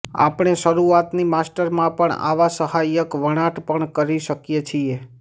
આપણે શરૂઆતની માસ્ટરમાં પણ આવા સહાયક વણાટ પણ કરી શકીએ છીએ